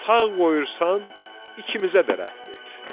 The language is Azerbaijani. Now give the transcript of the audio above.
Sağ qoyursan, ikimizə də rəhm et.